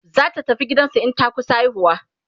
zata tafi gidansu in ta kusa haihuwa